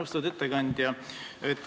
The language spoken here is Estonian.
Austatud ettekandja!